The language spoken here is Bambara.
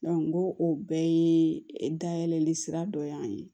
ko o bɛɛ ye dayɛlɛli sira dɔ ye